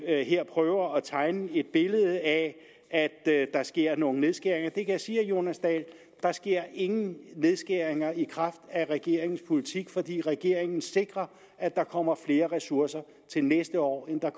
her prøver at tegne et billede af at der sker nogle nedskæringer jeg kan sige jonas dahl der sker ingen nedskæringer i kraft af regeringens politik fordi regeringen sikrer at der kommer flere ressourcer til næste år end der